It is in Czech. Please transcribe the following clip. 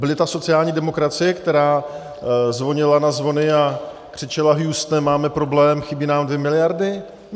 Byla to sociální demokracie, která zvonila na zvony a křičela Houstone, máme problém, chybí nám dvě miliardy?